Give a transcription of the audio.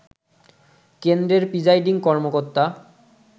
কেন্দ্রের প্রিজাইডিং কর্মকর্তা